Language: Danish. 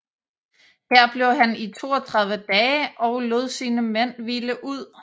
Her blev han i 32 dage og lod sine mænd hvile ud